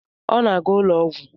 Ọ na-aga ụlọ ọgwụ?